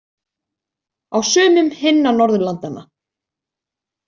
Á sumum hinna Norðurlandanna.